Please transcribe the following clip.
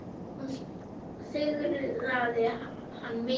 Hún syrgði hann mikið.